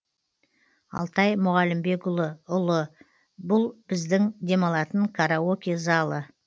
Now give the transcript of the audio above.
алтай мұғалімбекұлы ұлы бұл біздің демалатын караоке залы